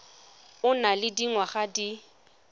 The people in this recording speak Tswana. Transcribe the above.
o nang le dingwaga di